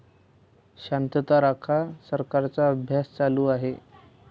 शांतता राखा, सरकारचा अभ्यास चालू आहे!